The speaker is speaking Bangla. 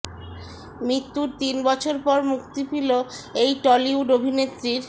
মৃত্যুর তিন বছর পর মুক্তি পেল এই টলিউড অভিনেত্রীর